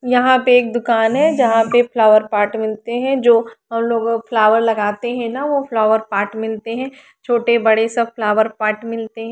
यहां पर एक दुकान है जहां पे फ्लावर पॉट मिलते हैं जो हम लोग वो फ्लावर लगते हैं ना वो फ्लावर पॉट मिलते हैं छोटे बड़े सब फ्लावर पॉट मिलते--